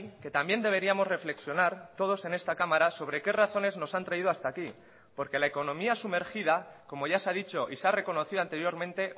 que también deberíamos reflexionar todos en esta cámara sobre qué razones nos han traído hasta aquí porque la economía sumergida como ya se ha dicho y se ha reconocido anteriormente